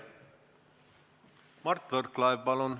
Mart Võrklaev, palun!